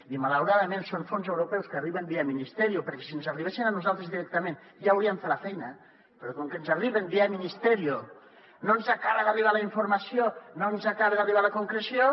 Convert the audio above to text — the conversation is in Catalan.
i malauradament són fons europeus que arriben via ministerio perquè si ens arribessin a nosaltres directament ja hauríem fet la feina però com que ens arriben via ministerio no ens acaba d’arribar la informació no ens acaba d’arribar la concreció